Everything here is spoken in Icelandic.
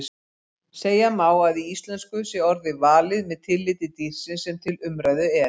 Segja má að í íslensku sé orðið valið með tilliti dýrsins sem til umræðu er.